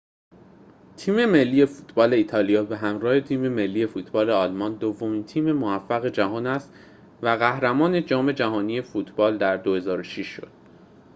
تیم ملی فوتبال ایتالیا به همراه تیم ملی فوتبال آلمان دومین تیم موفق جهان است و قهرمان جام‌جهانی فوتبال در ۲۰۰۶ شد